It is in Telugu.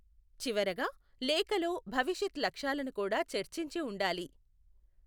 చివరగా, లేఖలో భవిష్యత్ లక్ష్యాలను కూడా చర్చించి ఉండాలి.